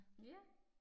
Ja